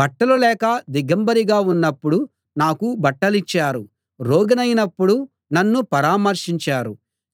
బట్టలు లేక దిగంబరిగా ఉన్నప్పుడు నాకు బట్టలిచ్చారు రోగినైనప్పుడు నన్ను పరామర్శించారు